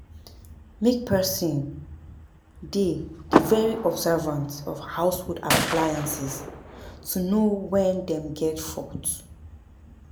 Make person dey de very observant of household appliances to know when dem get fault